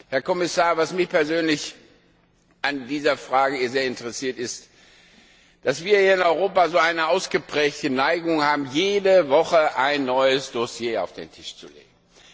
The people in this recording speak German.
Herr Kommissar, was mich persönlich an dieser Frage sehr interessiert, ist, dass wir hier in Europa eine ausgeprägte Neigung haben, jede Woche ein neues Dossier auf den Tisch zu legen.